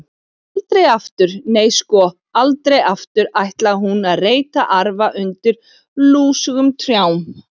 Aldrei aftur, nei, sko, aldrei aftur ætlaði hún að reyta arfa undir lúsugum trjám.